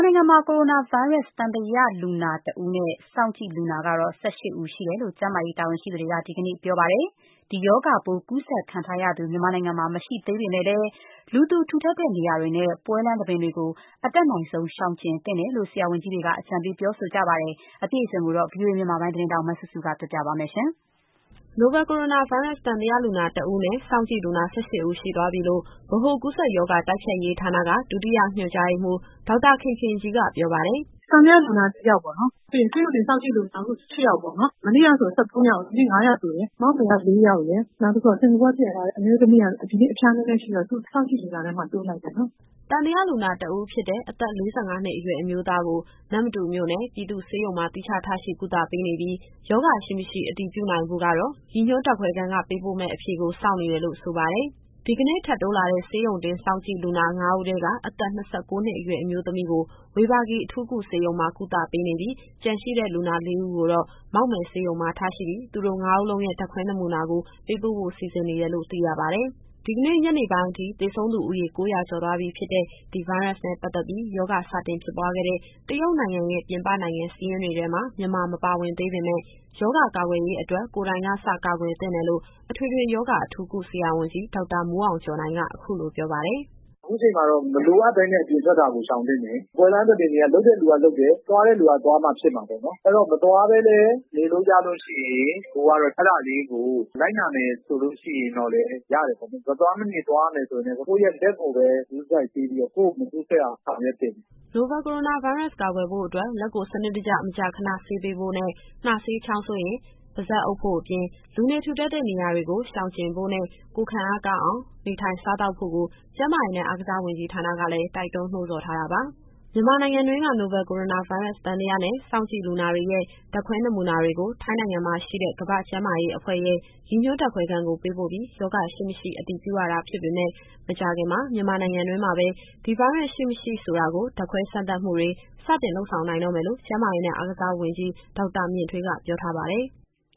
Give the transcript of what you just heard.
နိုင်ငံမှာ နိုဗယ်ကိုရိုနာဗိုင်းရပ်စ် သံသယလူနာ ၁ ဦးနဲ့ စောင့်ကြည့်လူနာ ၁၈ ဦး ရှိတယ်လို့ ကျန်းမာရေးတာဝန်ရှိသူတွေက ဒီကနေ့မှာပြောပါတယ်။ ဒီရောဂါပိုး ကူးစက်ခံထားရသူ မြန်မာနိုင်ငံမှာ မရှိသေးပေမယ့်လည်း လူထူထပ်တဲ့နေရာတွေနဲ့ ပွဲလမ်းသဘင်တွေကို အတတ်နိုင်ဆုံး ရှောင်ကြဉ်သင့်တယ်လို့ ဆရာဝန်ကြီးတွေက အကြံပေးပြောဆိုနေပါတယ်။ အပြည့်အစုံကို ဗွီအိုအေမြန်မာပိုင်း သတင်းထောက်စုစုက ပြောပြသွားမှာပါ။ နိုဗယ်ကိုရိုနာဗိုင်းရပ်စ် သံသယလူနာ ၁ဦးနဲ့ စောင့်ကြည့်လူနာ ၁၈ဦး ရှိသွားပြီလို့ ဗဟိုကူးစက်ရောဂါ တိုက်ဖျက်ရေးဌာနက ဒုတိယညွှန်ကြားရေးမှူး ဒေါက်တာခင်ခင်ကြီးက ပြောပါတယ်။ “သံသယလူနာက၁ ယောက်ပေါ့နော်။ ပြီးရင် ဆေးရုံတင်စောင့်ကြည့် လူနာက အခု ၁၈ ယောက်ပေါ့နော်။ မနေ့ကဆို ၁၃ ယောက်။ ဒီနေ့ ၅ ယောက်တိုးတယ်။ မောက်မယ်က ၄ ယောက်ရယ်၊ နောက်တဦးက စင်္ကာပူကပြန်လာတဲ့ အမျိုးသမီးက ဒီနေ့အဖျားနည်းနည်းရှိတော့ သူ့ကို စောင့်ကြည့်လူနာထဲမှာ တိုးလိုက်တယ်နော်။” သံသယလူနာ တဦးဖြစ်တဲ့ အသက် ၄၅နှစ်အရွယ် အမျိုးသားကို နမ္မတူမြို့နယ် ပြည်သူ့ဆေးရုံမှာ သီးခြားထားရှိကုသပေးနေပြီး ရောဂါရှိ၊ မရှိ အတည်ပြုနိုင်ဖို့ကတော့ ရည်ညွှန်းဓာတ်ခွဲခန်းက ပေးပို့မယ့်အဖြေကို စောင့်နေတယ်လို့ ဆိုပါတယ်။ ဒီကနေ့ထပ်တိုးလာတဲ့ ဆေးရုံတင်စောင့်ကြည့်လူနာ ၅ဦးထဲက အသက် ၂၉နှစ်အရွယ် အမျိုးသမီးကို ဝေဘာဂီအထူးကုဆေးရုံမှာ ကုသပေးနေပြီး၊ ကျန်ရှိတဲ့ လူနာ ၄ဦးကိုတော့ မောက်မယ်ဆေးရုံမှာ ထားရှိပြီး၊ သူတို့ ၅ဦးလုံးရဲ့ ဓာတ်ခွဲနမူနာကို ပေးပို့ဖို့ စီစဉ်နေတယ်လို့ သိရပါတယ်။ ဒီကနေ့ ညနေပိုင်းအထိ သေဆုံးသူဦးရေ ၉၀၀ ကျော်သွားပြီဖြစ်တဲ့ ဒီဗိုင်းရပ်စ်နဲ့ ပတ်သက်ပြီး ရောဂါစတင်ဖြစ်ပွားခဲ့တဲ့ တရုတ်နိုင်ငံရဲ့ ပြင်ပနိုင်ငံစာရင်းေတွထဲမှာ မြန်မာမပါဝင်သေးပေမယ့် ရောဂါကာကွယ်ရေးအတွက် ကိုယ်တိုင်ကစ ကာကွယ်သင့်တယ်လို့ အထွေထွေရောဂါ အထူးကုဆရာဝန်ကြီး ဒေါက်တာမိုးအောင်ကျော်နိုင်က အခုလိုပြောပါတယ်။ “အခုချိန်မှာတော့ မလိုအပ်ဘဲနဲ့ အပြင်ထွက်တာကို ရှောင်သင့်တယ်။ ပွဲလမ်းသဘင်တွေက လုပ်တဲ့သူကလုပ်တယ်။ သွားတဲ့သူက သွားမှဖြစ်မှာပေါ့နော်။ အဲတော့ မသွားဘဲလည်း နေလို့ရလို့ရှိရင် ကိုယ်ကတော့ အဲဒါလေးကို လိုက်နာမယ်ဆိုရင် ရတယ်ပေါ့။ မသွားမဖြစ် သွားရမယ်ဆိုရင်လည်း ကိုယ့်ရဲ့လက်ကိုပဲ ဂရုတစိုက်ဆေးပြီးတော့ ကိုယ့်ကိုယ်မကူးစက်အောင် ဆောင်ရွက်သင့်တယ်။” နိုဗယ်ကိုရိုနာဗိုင်းရပ်စ် ကာကွယ်ဖို့အတွက် လက်ကိုစနစ်တကျ မကြာခဏဆေးပေးဖို့နဲ့ နှာစေး၊ ချောင်းဆိုးရင် ပါးစပ်အုပ်ဖို့အပြင် လူနေထူထပ်တဲ့နေရာတွေကို ရှောင်ကြဉ်ဖို့နဲ့ ကိုယ်ခံအားကောင်းအောင် နေထိုင်စားသောက်ဖို့ကို ကျန်းမာရေးနဲ့ အားကစားဝန်ကြီးဌာနကလည်း တိုက်တွန်းနှိုးဆော်ထားတာပါ။ မြန်မာနိုင်ငံတွင်းက နိုဗယ်ကိုရိုနာဗိုင်းရပ်စ် သံသယနဲ့ စောင့်ကြည့်လူနာတွေရဲ့ ဓာတ်ခွဲနမူနာတွေကို ထိုင်းနိုင်ငံမှာရှိတဲ့ ကမ္ဘာ့ကျန်းမာရေးအဖွဲ့ရဲ့ ရည်ညွှန်းဓာတ်ခွဲခန်းကို ပေးပို့ပြီး ရောဂါ ရှိ၊ မရှိအတည်ပြု ရတာ ဖြစ်ပေမယ့် မကြာခင်မှာ မြန်မာနိုင်ငံတွင်းမှာပဲ ဒီဗိုင်းရပ်စ်ရှိ၊ မရှိ ဆိုတာကို ဓာတ်ခွဲစမ်းသပ် မှုတွေ စတင်လုပ်ဆောင် နိုင်တော့မယ်လို့ ကျန်းမာရေးနဲ့အားကစားဝန်ကြီး ဒေါက်တာမြင့်ထွေးက ပြောထားပါတယ်။